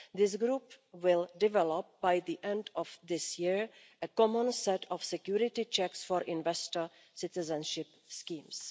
This group will develop, by the end of this year, a common set of security checks for investor citizenship schemes.